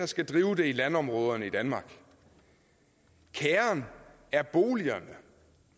skal drive det i landområderne i danmark kærren er boligerne